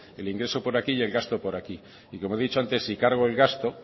el ingreso por aquí y el gasto por aquí y como he dicho antes si cargo el gasto